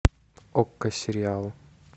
окко сериалы